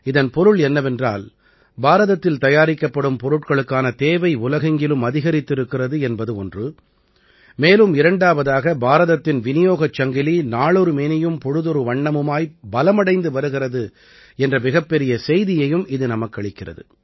இதன் பொருள் என்னவென்றால் பாரதத்தில் தயாரிக்கப்படும் பொருட்களுக்கான தேவை உலகெங்கிலும் அதிகரித்திருக்கிறது என்பது ஒன்று மேலும் இரண்டாவதாக பாரதத்தின் விநியோகச் சங்கிலி நாளொரு மேனியும் பொழுதொரு வண்ணமுமாய் பலமடைந்து வருகிறது என்ற மிகப்பெரிய செய்தியையும் இது நமக்களிக்கிறது